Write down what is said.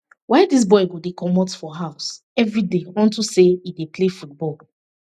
why dis boy go dey comot for dis house everyday unto say he dey play football